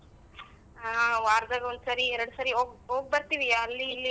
ಹ ವಾರ್ದಲ್ಲ್ ಒಂದ್ ಸರಿ ಎರ್ಡ್ ಸರಿ ಹೋಗ್ ಹೋಗ್ ಬರ್ತೀವಿ ಅಲ್ಲಿ ಇಲ್ಲಿ ತೊಗೋ.